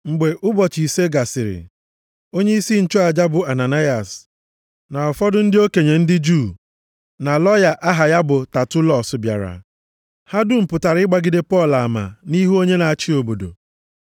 Mgbe ụbọchị ise gasịrị, onyeisi nchụaja bụ Ananayas na ụfọdụ ndị okenye ndị Juu na lọya ha aha ya bụ Tatulọs bịara. Ha dum pụtara ịgbagide Pọl ama nʼihu onye na-achị obodo.